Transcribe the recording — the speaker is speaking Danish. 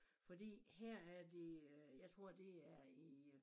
Fordi her er det øh jeg tror det er i øh